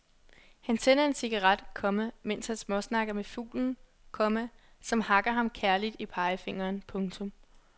Han tænder en cigaret, komma mens han småsnakker med fuglen, komma som hakker ham kærligt i pegefingeren. punktum